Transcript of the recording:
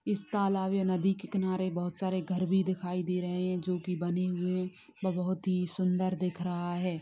इस तालाब या नदी के किनारे बहोत सारे घर भी दिखाई दे रहे है जो की बने हुए बहुत ही सुन्दर दिख रहा है।